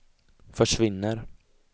försvinner